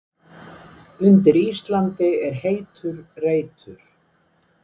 Undir Íslandi er heitur reitur.